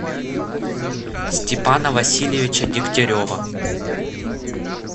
степана васильевича дегтярева